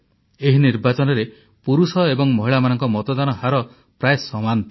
ଏହି ନିର୍ବାଚନରେ ପୁରୁଷ ଏବଂ ମହିଳାମାନଙ୍କ ମତଦାନ ହାର ପ୍ରାୟ ସମାନ ଥିଲା